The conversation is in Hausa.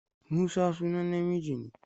Musa sunan namiji ne.